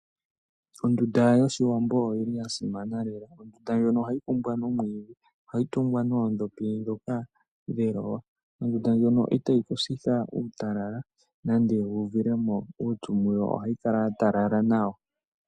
Ondunda yOshiwambo oyili ya simana lela, ondunda ndjono ohayi kumbwa nomwiidhi. Ohayi tungwa noondhopi ndhoka dheloya. Ondunda ndjono itayi ku sitha uutalala nenge wu uvilemo uupyu muyo ohayi kala ya talala nawa.